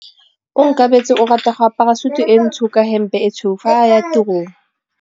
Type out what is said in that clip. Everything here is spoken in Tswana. Onkabetse o rata go apara sutu e ntsho ka hempe e tshweu fa a ya tirong.